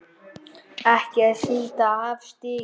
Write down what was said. ekki er síldin afar stygg